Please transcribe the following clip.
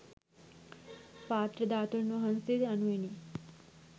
පාත්‍ර ධාතුන් වහන්සේ යනුවෙනි.